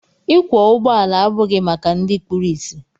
Ịkwọ ụgbọala abụghị maka ndị kpụrụ isi.